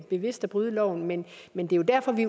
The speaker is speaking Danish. bevidst at bryde loven men men det er derfor vi